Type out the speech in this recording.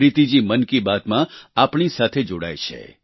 પ્રીતિ જી મન કી બાતમાં આપણી સાથે જોડાય છે